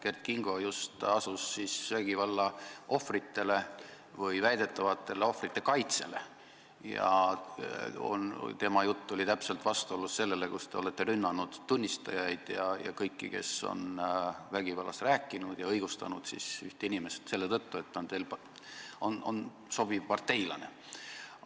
Kert Kingo asus just vägivallaohvrite või väidetavate ohvrite kaitsele ja tema jutt oli täpselt vastuolus teie jutuga, kui te ründasite tunnistajaid ja kõiki, kes on vägivallast rääkinud, ja õigustasite üht inimest selle tõttu, et ta on teile sobiv parteilane.